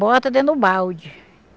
Bota dentro do balde.